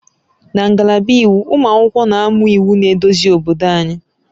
Na ngalaba Iwu, ụmụ akwụkwọ na-amụ iwu na-eduzi obodo anyị